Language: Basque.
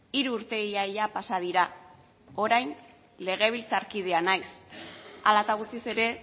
hiru urte ia ia pasa dira orain legebiltzarkidea naiz hala eta guztiz ere